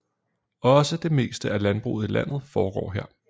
Også det meste af landbruget i landet foregår her